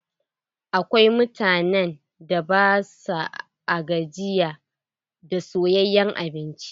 Akwai mutanen da ba sua gajiya da soyayen abinci.